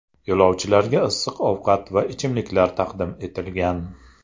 Yo‘lovchilarga issiq ovqat va ichimliklar taqdim etilgan.